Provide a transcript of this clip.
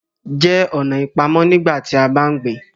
jẹ ọ̀nà ipamọ nígbàtí a bá ń gbìn